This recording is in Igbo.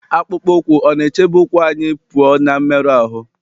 akpụkpọ ụkwụ ọ̀ na-echebe ụkwụ anyị pụọ ná mmerụ ahụ́?